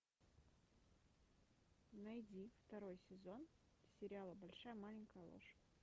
найди второй сезон сериала большая маленькая ложь